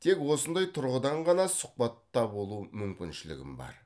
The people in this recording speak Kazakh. тек осындай тұрғыдан ғана сұхбатта болу мүкіншілігім бар